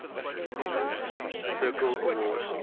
critics circle award